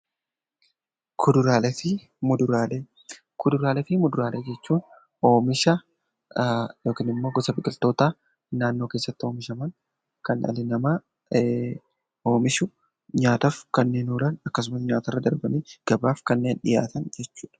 Kuduraalee fi muduraalee jechuun oomisha yookiin immoo gosa biqiltootaa naannoo keessatti oomishaman kan dhalli namaa oomishu nyaataaf kanneen oolan akkasumas nyaatarra darbanii gabaaf kanneen dhiyaatan jechuudha.